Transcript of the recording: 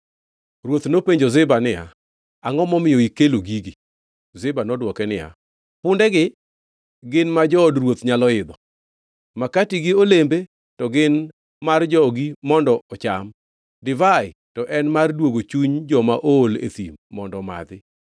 Ruoth nopenjo Ziba niya, “Angʼo momiyo ikelo gigi?” Ziba nodwoke niya, “Pundegi gin ma jood ruoth nyalo idho, makati gi olembe to gin mar jogi mondo ocham, divai to en mar duogo chuny joma ool e thim mondo omadhi.”